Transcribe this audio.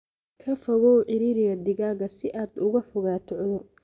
Ka fogow ciriiriga digaagga si aad uga fogaato cudur.